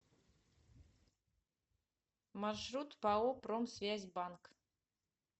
маршрут пао промсвязьбанк